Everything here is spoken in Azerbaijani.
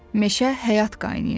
Meşə həyat qaynayırdı.